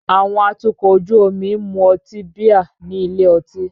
Àwọn atukọ̀ ojú omi ń mu ọtí bíà ní ilé ọtí.